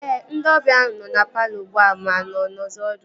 Ee, ndị ọbịa ahu nọ na palọ ugbua ma ha nọzi ọdụ